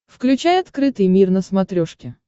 включай открытый мир на смотрешке